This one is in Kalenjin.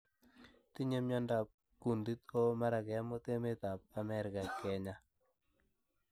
tinye miandop kuuntit oh mara kemut emeet ap Ameriga genyaa